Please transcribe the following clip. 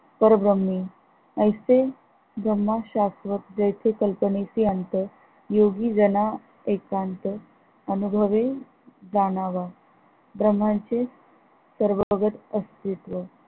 परभ्रमे ऐसे ब्रह्म शास्त्रज्ञ जैसे कल्पेनेशी अंत योगी जना एकांत अनभुवि जाणावा भ्रमाची सर्व अस्तित्व